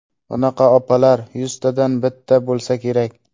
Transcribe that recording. Bunaqa opalar yuztadan bitta bo‘lsa kerak.